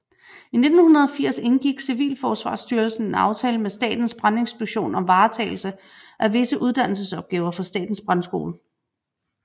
I 1980 indgik Civilforsvarsstyrelsen en aftale med Statens Brandinspektion om varetagelse af visse uddannelsesopgaver for Statens Brandskole